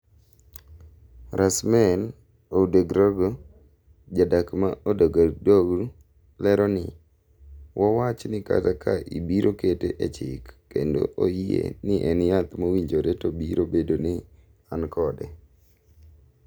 Rasmane Ouedraogo ,jadak ma Ouagadougou lero ni:"wawach ni kata ka ibiro kete e chik kendo oyie ni en yath mowinjore to biro bedo ni an kode.